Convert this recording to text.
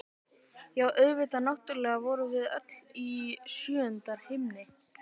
Já, auðvitað, náttúrlega vorum við öll í sjöunda himni!